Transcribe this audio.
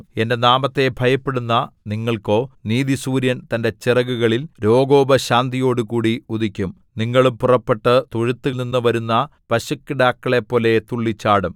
എന്റെ നാമത്തെ ഭയപ്പെടുന്ന നിങ്ങൾക്കോ നീതിസൂര്യൻ തന്റെ ചിറകുകളിൽ രോഗോപശാന്തിയോടുകൂടി ഉദിക്കും നിങ്ങളും പുറപ്പെട്ട് തൊഴുത്തിൽനിന്നു വരുന്ന പശുക്കിടാക്കളെപ്പോലെ തുള്ളിച്ചാടും